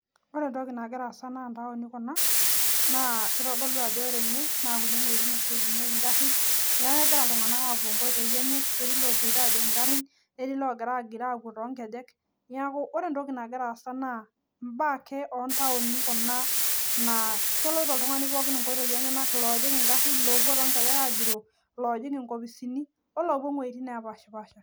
Ore nagira sasa naa taoni kuna naa kitodolu ajo kuna wuejitin oshi ejingieki ngaarrin neeku kegira iltunganak aapuo nkoitoi enye, etii ilopoito aajing nkopisi neeku ore entoki nagira sasa naa baa ake oo taoni kuna naa keloito oltungani pooki nkoitoi enyenak